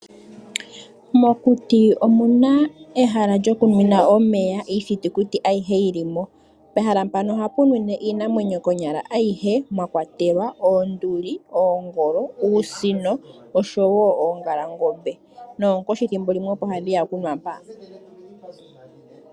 Mokuti omuna ehala lyokumwina omeya iithitikuti ayihe yili mo pehala mpano ohapu mwine iinamwenyo ayihe konyala mwakwatelwa oongolo, oosino oshowo oongalangombe noonkoshi ethimbo limwe opo hadhi ya kunwa mpa.